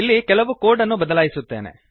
ಇಲ್ಲಿ ಕೆಲವು ಕೋಡ್ ಅನ್ನು ಬದಲಾಯಿಸುತ್ತೇನೆ